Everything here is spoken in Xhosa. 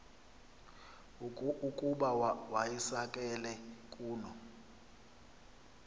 ukuba wayisakele kuno